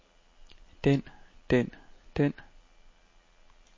den den den